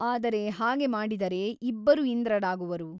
ಆದರೆ ಹಾಗೆ ಮಾಡಿದರೆ ಇಬ್ಬರು ಇಂದ್ರರಾಗುವರು.